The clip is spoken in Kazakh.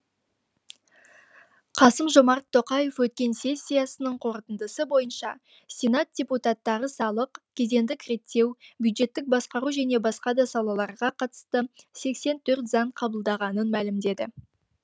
қасым жомарт тоқаев өткен сессиясының қорытындысы бойынша сенат депутаттары салық кедендік реттеу бюджеттік басқару және басқа да салаларға қатысты сексен төрт заң қабылдағанын мәлімдеді